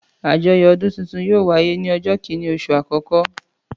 Àjọyọ̀ ọdún tuntun yóò wáyé ní ọjọ́ kìíní oṣù àkọ́kọ́.